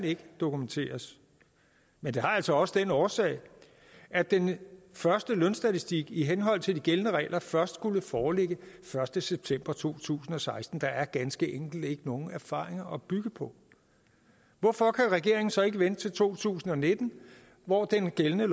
ikke kan dokumenteres men det har altså også den årsag at den første lønstatistik i henhold til de gældende regler først skulle foreligge den første september to tusind og seksten der er ganske enkelt ikke nogen erfaringer at bygge på hvorfor kan regeringen så ikke vente til to tusind og nitten hvor den gældende